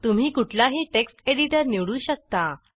तुम्ही कुठलाही text editor निवडू शकता